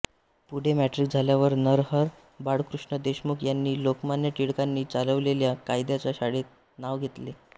पुढे मॅट्रिक झाल्यावर नरहर बाळकृष्ण देशमुख यांनी लोकमान्य टिळकांनी चालवलेल्या कायद्याच्या शाळेत नाव घातले